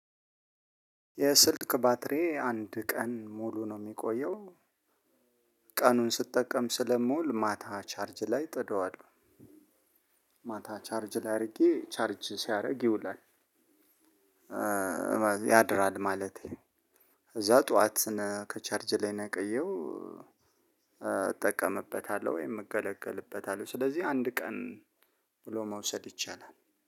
የስልክ ባትሪዬ አንድ ቀን ሙሉ ነው የሚቆየው ቀኑን ስጠቀም ስለምውል ማታ ቻርጅ ላይ እጥደዋለሁ ማታ ቻርጅ ላይ አድርጌ ቻርጅ ሲያደርግ ይውላል። ያድራል ማለቴ እዛ ጠዋት ከቻርጅ ላይ ነቀየው እጠቀምበታለሁ ወይም እገለገልበታለሁ። ስለዚህ አንድ ቀን ብሎ መውሰድ ይቻላል።